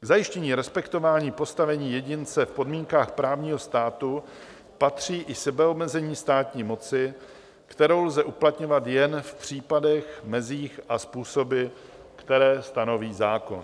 K zajištění respektování postavení jedince v podmínkách právního státu patří i sebeomezení státní moci, kterou lze uplatňovat jen v případech, mezích a způsoby, které stanoví zákon.